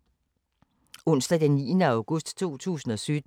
Onsdag d. 9. august 2017